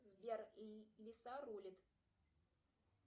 сбер лиса рулит